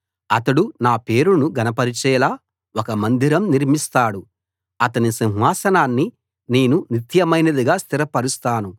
అతడు నా పేరును ఘనపరిచేలా ఒక మందిరం నిర్మిస్తాడు అతని సింహాసనాన్ని నేను నిత్యమైనదిగా స్థిరపరుస్తాను